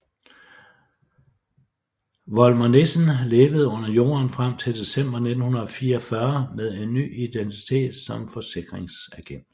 Volmer Nissen levede under jorden frem til december 1944 med en ny identitet som forsikringsagent